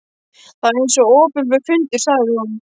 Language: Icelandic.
Það var eins og opinber fundur sagði hún.